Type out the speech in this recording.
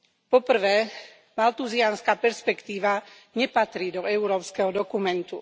Po prvé, malthuziánska perspektíva nepatrí do európskeho dokumentu.